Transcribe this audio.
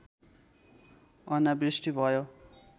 अनावृष्टि भयो